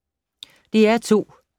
DR2